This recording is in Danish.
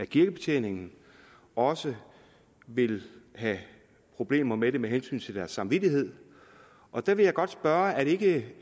kirkebetjeningen også vil have problemer med det med hensyn til deres samvittighed og der vil jeg godt spørge er det ikke